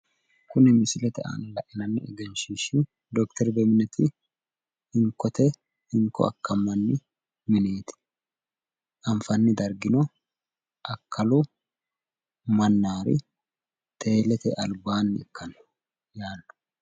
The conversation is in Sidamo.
Kuni misilete aana lainanni egenshiishshi dokiter beminet hinkkote hinko akkammanni mineeti. Anfanni dargino akkalu mannaari teelete albaanni ikkanno yaanno.